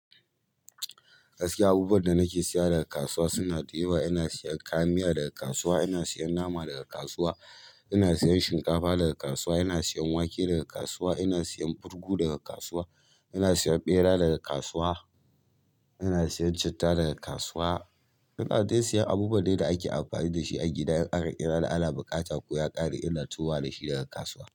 Gaskiya, abubuwan da nake siya daga kasuwa suna da yawa. Ina siyan kayan miya daga kasuwa, ina siyan nama daga kasuwa, ina siyan shinkafa daga kasuwa, ina siyan wake daga kasuwa, ina siyan burgu daga kasuwa, ina siyan ɓera daga kasuwa, ina siyan citta daga kasuwa. Nawa zai siyan abubuwai dai ake amfani dashi a gidan in aƙa kira ana buƙata ko ya ƙare ina tahowa dashi daga kasuwa.